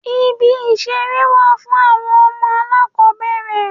Ibi ìṣeré wà fún àwọn ọmọ alákòbẹ̀rẹ̀.